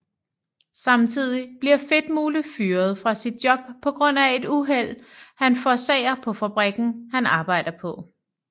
Samtidig bliver Fedtmule fyrret fra sit job på grund af et uheld han forårsager på fabrikken han arbejder på